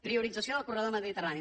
priorització del corredor mediterrani